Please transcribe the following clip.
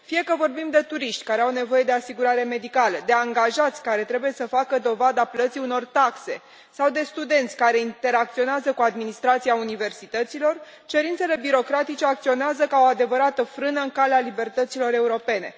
Fie că vorbim de turiști care au nevoie de asigurare medicală, de angajați care trebuie să facă dovada plății unor taxe, sau de studenți care interacționează cu administrația universităților, cerințele birocratice acționează ca o adevărată frână în calea libertăților europene.